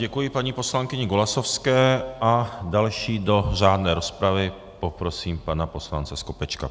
Děkuji paní poslankyni Golasowské a dalšího do řádné rozpravy poprosím pana poslance Skopečka.